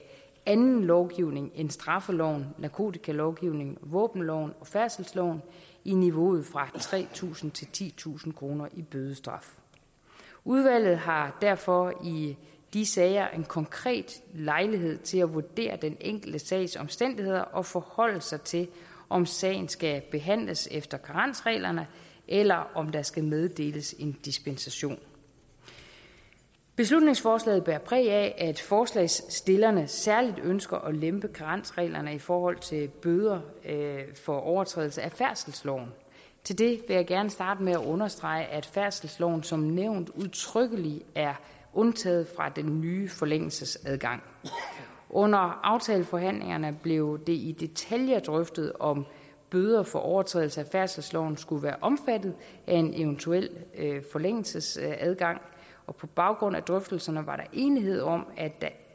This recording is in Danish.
anden lovgivning end straffeloven narkotikalovgivningen våbenloven og færdselsloven i niveauet fra tre tusind til titusind kroner i bødestraf udvalget har derfor i de sager en konkret lejlighed til at vurdere den enkelte sags omstændigheder og forholde sig til om sagen skal behandles efter karensreglerne eller om der skal meddeles en dispensation beslutningsforslaget bærer præg af at forslagsstillerne særlig ønsker at lempe karensreglerne i forhold til bøder for overtrædelse af færdselsloven til det vil jeg gerne starte med at understrege at færdselsloven som nævnt udtrykkeligt er undtaget fra den nye forlængelsesadgang under aftaleforhandlingerne blev det i detaljer drøftet om bøder for overtrædelse af færdselsloven skulle være omfattet af en eventuel forlængelsesadgang og på baggrund af drøftelserne var der enighed om at der